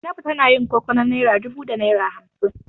Zainabu tana yin koko na naira dubu da naira hamsin.